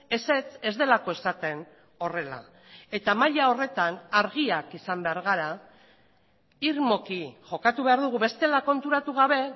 ezetz ez delako esaten horrela eta maila horretan argiak izan behar gara irmoki jokatu behar dugu bestela konturatu gabe